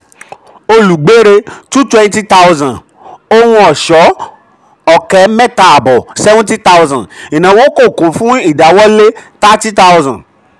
olùgbérè two twenty thousand ohun ọ̀ṣọ́ ọ̀kẹ́ mẹ̀ta àbọ̀ seventy thousand ìnáwó kò kún fún ìdáwọ́lé thirty thousand.